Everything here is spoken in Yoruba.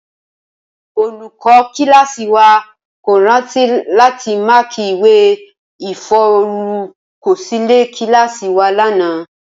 Olùkó kíláàsï wa kò rántí láti máàkì ìwé ìforúkosílè kíláàsï wa lánàá